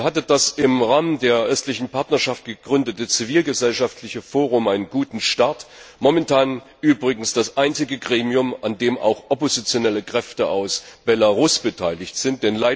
Hier hatte das im Rahmen der Östlichen Partnerschaft gegründete zivilgesellschaftliche Forum einen guten Start momentan übrigens das einzige Gremium, an dem auch oppositionelle Kräfte aus Belarus beteiligt sind.